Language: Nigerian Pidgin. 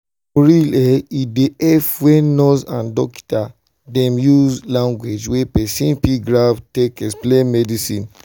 for real eh e dey epp wen nurse and dokita dem use lanugauge wey pesin fit grab take explain medicine.